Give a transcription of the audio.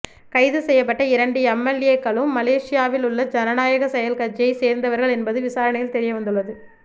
கைது செய்யப்பட்ட இரண்டு எம்எல்ஏ களும் மலேசியாவில் உள்ள ஜனநாயக செயல் கட்சியை சேர்ந்தவர்கள் என்பது விசாரணையில் தெரியவந்துள்ளது